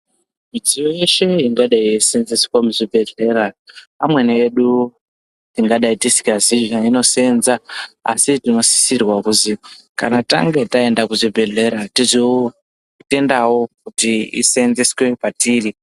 Midziyo yeshe ingadai yeiseenzeswa muzvibhedhlera amweni edu tingadai tisingazii zveinoseenza tinosisirwa kuzi kana tange taenda kuzvibhedhlera tizotendawo kuti iseenzeswe patiri.